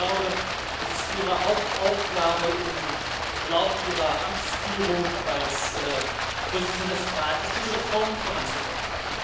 Ich glaube, es ist Ihre Hauptaufgabe, im Verlauf Ihrer Amtsführung als Vorsitzender des Rates diese Reformen voranzubringen.